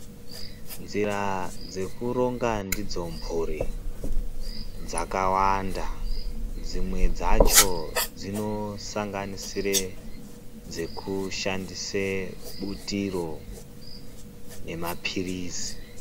Nzira dzekuronga ndidzo mhuri dzakawanda. Dzimwe dzacho dzinosanganisira dzekushandise butiro nemaphirizi.